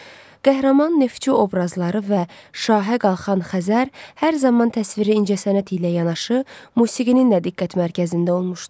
Qəhrəman neftçi obrazları və şahə qalxan Xəzər hər zaman təsviri incəsənət ilə yanaşı musiqinin də diqqət mərkəzində olmuşdu.